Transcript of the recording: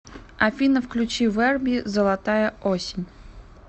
афина включи верби золотая осень